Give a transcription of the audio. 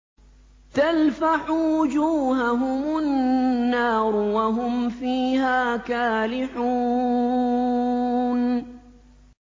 تَلْفَحُ وُجُوهَهُمُ النَّارُ وَهُمْ فِيهَا كَالِحُونَ